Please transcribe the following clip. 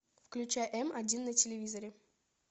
включай м один на телевизоре